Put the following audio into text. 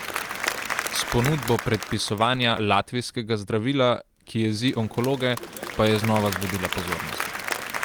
S ponudbo predpisovanja latvijskega zdravila, ki jezi onkologe, pa je znova zbudila pozornost.